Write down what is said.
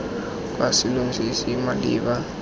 kwa selong se se maleba